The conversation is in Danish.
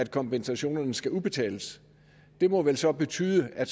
kompensationen skal udbetales det må vel så betyde at